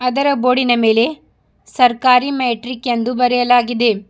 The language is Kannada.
ಅದರ ಬೋರ್ಡಿನ ಮೇಲೆ ಸರ್ಕಾರಿ ಮೆಟ್ರಿಕ್ ಎಂದು ಬರಯಲಾಗಿದೆ.